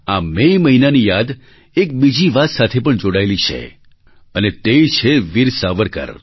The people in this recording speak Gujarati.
આ મે મહિનાની યાદ એક બીજી વાત સાથે પણ જોડાયેલી છે અને તે છે વીર સાવરકર